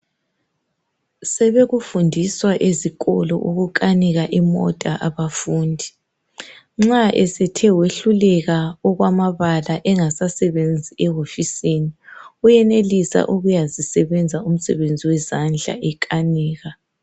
Sebekufundiswa ezikolo ukukanika imota abafundi. Nxa esethe wehluleka okwamabala engasasebenzi ewofisini wenelisa ukuyazisebenza umsebenzi wezandla ekanika.